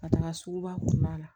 Ka taga sugu ba kɔnɔna la